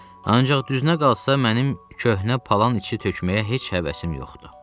Ancaq düznə qalsa mənim köhnə palan işi tökməyə heç həvəsim yoxdur.